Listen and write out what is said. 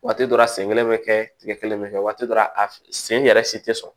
Waati dɔ la a sen kelen bɛ kɛ tiga kelen bɛ kɛ waati dɔ a sen yɛrɛ si tɛ sɔrɔ